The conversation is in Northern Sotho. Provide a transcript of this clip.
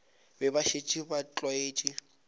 be ba šetše ba tlwaetše